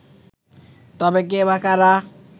তবে কে বা কারা